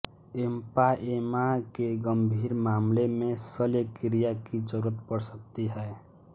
empyema के गम्भीर मामलो में शल्यक्रिया की जरूरत पड़ सकती है